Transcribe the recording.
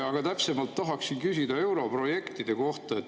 Aga täpsemalt tahaksin küsida europrojektide kohta.